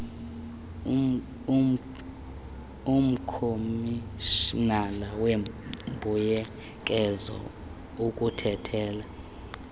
umkomishinala weembuyekezo ukuthathela